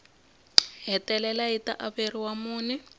hetelela yi ta averiwa mune